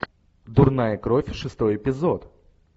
дурная кровь шестой эпизод